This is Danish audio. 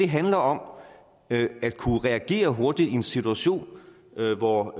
handler om at kunne reagere hurtigt i en situation hvor